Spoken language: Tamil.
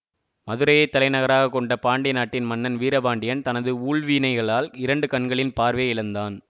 மதுரையைத் தலைநகராக கொண்ட பாண்டிய நாட்டின் மன்னன் வீரபாண்டியன் தனது ஊழ்வினைகளால் இரண்டு கண்களின் பார்வையை இழந்தான்